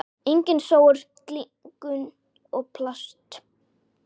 Engin sóun, glingur og plast.